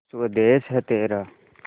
स्वदेस है तेरा